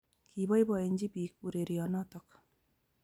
Kopoipoenji pik ureryo notok